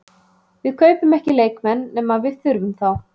Við kaupum ekki leikmenn nema við þurfum þá.